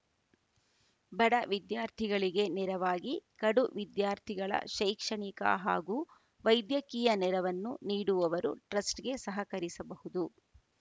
ಬಡ ವಿದ್ಯಾರ್ಥಿಗಳಿಗೆ ನೆರವಾಗಿ ಕಡು ವಿದ್ಯಾರ್ಥಿಗಳ ಶೈಕ್ಷಣಿಕ ಹಾಗೂ ವೈದ್ಯಕೀಯ ನೆರವನ್ನು ನೀಡುವವರು ಟ್ರಸ್ಟ್‌ಗೆ ಸಹಕರಿಸಬಹುದು